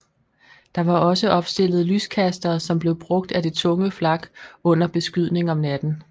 Der var også opstillet lyskastere som blev brugt af det tunge flak under beskydning om natten